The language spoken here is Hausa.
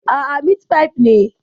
Aa, mitfai ne